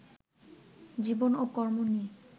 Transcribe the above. জীবন ও কর্ম নিয়ে